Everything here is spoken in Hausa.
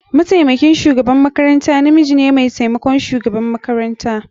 Mataimakin shugaban makaranta namiji ne mai taimakon shugaban makaranta.